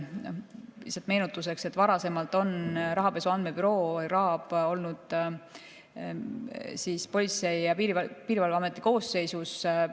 Lihtsalt meenutuseks, et Rahapesu Andmebüroo oli varasemalt Politsei‑ ja Piirivalveameti koosseisus.